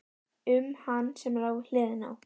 Um hann sem lá við hliðina á